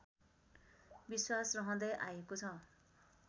विश्वास रहँदै आएको छ